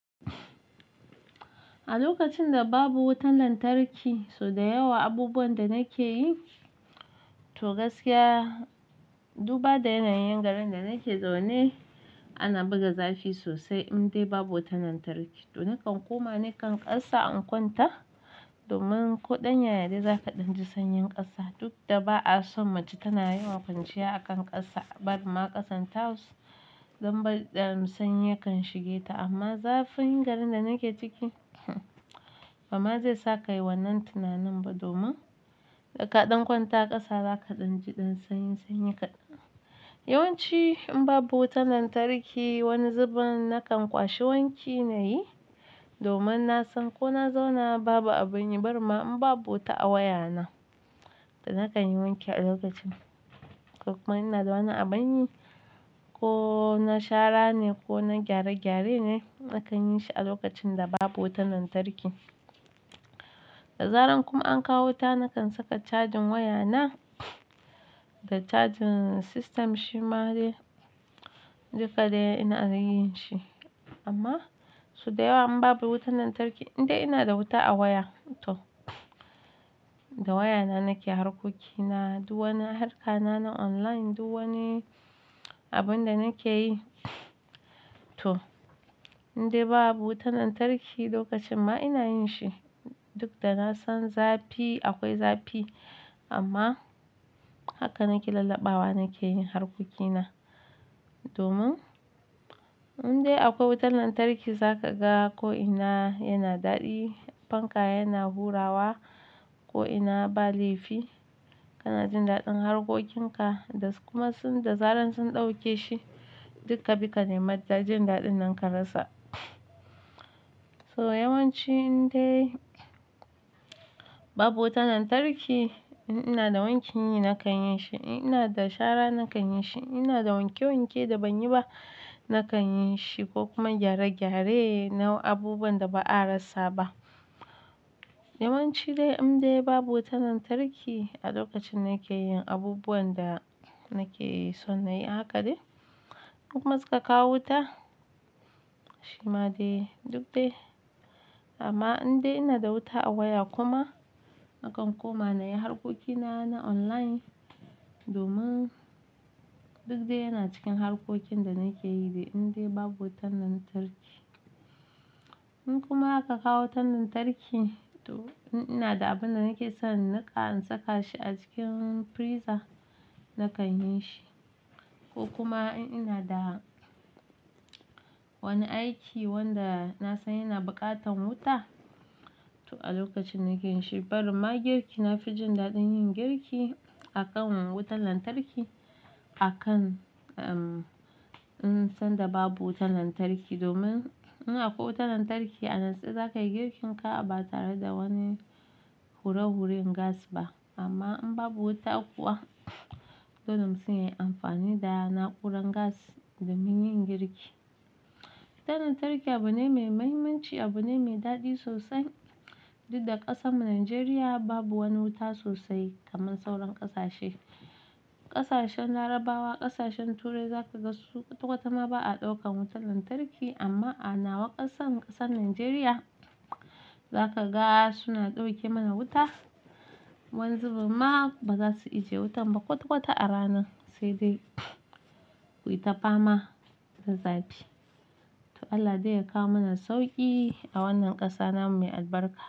A lokacin da babu wutar lantarki, so da yawa abubuwan da nake yi, to gaskiya duba da yanayin garin da nake zaune ana buga zafi sosai indai babu wutar lantarki. To nakan koma nakan ƙasa in kwanta domin ko ɗan yaya ne za ka ɗan ji sanyin ƙasa. Duk da ba'a son mace tana yawan kwanciya a kan ƙasa, bari ma ƙasan tiles don ba ɗan sanyi yakan shige ta amma zafin garin da nake ciki ba ma zai sa kai wannan tunanin ba domin ka ɗan kwanta ƙasa zaka ɗan ji ɗan sanyi sanyi kaɗan. Yawanci in babu wutar lantarki wani zubin nakan kwashe wanki nayi domin na san ko na zauna babu abin yi barin ma in babu wuta a wayana da nakan yi wanki a lokacin. Ko kuma ina da wani abin yi ko na shara ne ko na gyare gyare ne nakan yi shi a lokacin da babu wutar lantarki. Da zaran kuma an kawo wuta nakan saka cajin wayana da cajin system shi ma dai duka dai ina yin shi amma so da yawa in babu wutar lantarki indai ina da wuta a waya to da wayana nake harkokina, duk wani harka na na online duk wani abun da nake yi to indai babu wutar lantarki lokacin ma ina yin shi. Duk da na san zafi akwai zafi amma haka nake lalabbawa nake yin harkokina domin indai akwai wutar lantarki za ka ga ko ina yana daɗi, fanka yana hurawa ko ina ba laifi kana jin daɗin harkokinka da kuma da zaran sun ɗauke shi duk ka bi ka nemi jin daɗin nan ka rasa. So yawanci indai babu wutar lantarki in ina da wanki nakan yin shi, in ina da shara nakan yin shi, in ina da wanke wanke da ban yi ba nakan yin shi ko kuma gyare gyare nau'in abubuwan da ba a rasa ba. Yawanci dai indai babu wutar lantarki a lokacin nake yin abubuwan da nake so na yi haka dai. Inkuma suka kawo wuta shi ma dai duk dai amma indai ina da wuta a waya kuma nakan koma na yi harkokina na online domin duk dai yana cikin harkokin da nake yi dai indai babu wutar lantarki. In kuma aka kawo wutar lantarki to in ina da abun da nake son inniƙa in saka shi a cikin freezer nakan yin shi ko kuma in ina da wani aiki wanda na san yana buƙatan wuta to a lokacin nake yin shi barin ma girki na fi jin daɗin yin girki a kan wutan lantarki akan in san da babu wutar lantarki domin ina akwai wutar lantarki a natse za ka yi girkin ka ba tare da wani hure huren gas ba amma in babu wuta kuwa dole mutum yai amfani da na'urar gas domin yin girki. Wutar lantarki abu ne mai mahimmanci, abu ne mai daɗi sosai duk da ƙasan mu Najeriya babu wani wuta sosai kamar sauran ƙasashe. Ƙasashen Larabawa, ƙasashen Turai za ka ga su kwata kwata ma ba a ɗaukan wutar lantarki amma a nawa ƙasan ƙasan Najeriya za ka ga suna ɗauke mana wuta. Wani zubin ma ba za su ijiye wutan ba kwata kwata a ranan sai dai ku yi ta fama da zafi. To Allah dai ya kawo mana sauƙi a wannan ƙasa namu mai albarka.